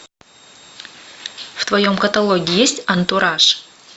в твоем каталоге есть антураж